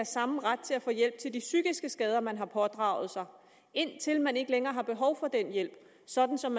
samme ret til at få hjælp til de psykiske skader man har pådraget sig indtil man ikke længere har behov for den hjælp sådan som